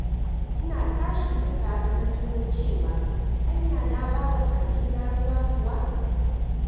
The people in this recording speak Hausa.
Ina tashi da safe na tuno cewa anya na ba wa kaji na ruwa kuwa?